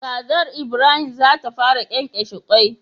Kazar Ibrahim zata fara kyenkyeshe kwai